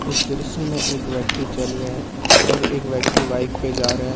उस दृश्य में एक व्यक्ति चल रहे हैं और एक व्यक्ति बाइक पे जा रहा है।